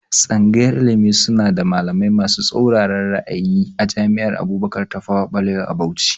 Tsangayar ilimi suna da malamai masu tsatsauran ra'ayi a jami'ar Abubakar Tafawa Balewa a Bauchi